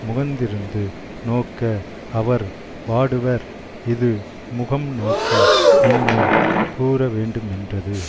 முகந்திரிந்து நோக்க அவர் வாடுவர் இது முகம்நோக்கி யின்மை கூறவேண்டுமென்றது